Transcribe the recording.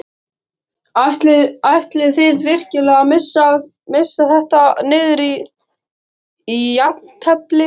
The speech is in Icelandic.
Ætlið þið virkilega að missa þetta niður í jafntefli?